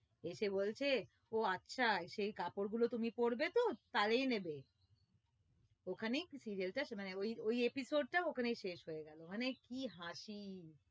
এসে বলছে ও আচ্ছা সেই কাপড় গুলো তুমি পড়বে তো তালেই নেবে ওখানেই serial টা মানে ওই ওই episode টা ওখানেই শেষ হয়ে গেলো মানে কি হাসি